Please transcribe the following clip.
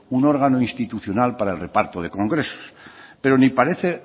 un órgano institucional para el reparto de congresos pero ni parece